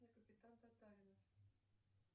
капитан татаринов